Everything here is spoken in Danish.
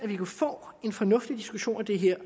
vi kunne få en fornuftig diskussion af det her